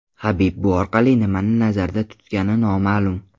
Habib bu orqali nimani nazarda tutgani noma’lum.